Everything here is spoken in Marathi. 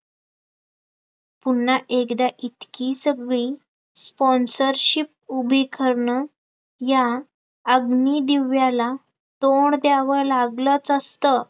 पुन्हा एकदा इतकी सगळी sponsorship उभी करणं, या अग्निदिव्याला तोंड द्यावं लागलच असतं